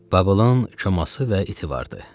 Babılın çoması və iti vardı.